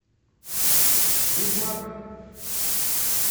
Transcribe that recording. ведьмак